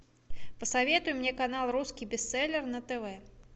посоветуй мне канал русский бестселлер на тв